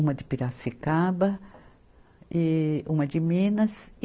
Uma de Piracicaba e uma de Minas.